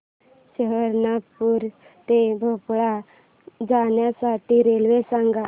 सहारनपुर ते भोपाळ जाण्यासाठी रेल्वे सांग